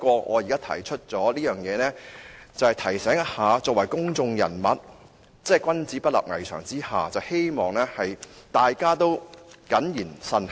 我提出這一點，只是想提醒一下大家作為公眾人物，君子不立危牆之下，希望大家謹言慎行。